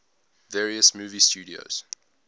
various movie studios